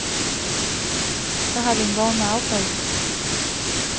Så har vi en vogn med affald.